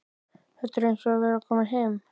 Þetta er eins og að vera kominn heim.